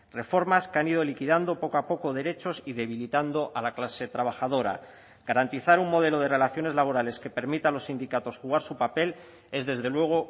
reformas que han ido liquidando poco a poco derechos y debilitando a la clase trabajadora garantizar un modelo de relaciones laborales que permita a los sindicatos jugar su papel es desde luego